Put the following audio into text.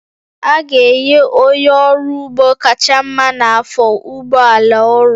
A ga-enye onye ọrụ ugbo kacha mma n'afọ ụgbọ ala ọrụ